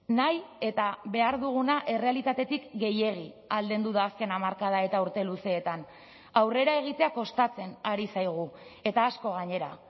nahi eta behar duguna errealitatetik gehiegi aldendu da azken hamarkada eta urte luzeetan aurrera egitea kostatzen ari zaigu eta asko gainera